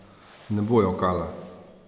Ne bo jokala.